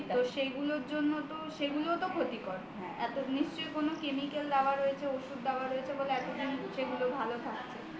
তো সেইগুলোর জন্য তো সেইগুলোও তো ক্ষতিকর নিশ্চয়ই কোন chemical দেওয়া আছে বা কোন ওষুধ দেওয়া আছে ওই জন্য এতদিন সেগুলো ভালো থাকছে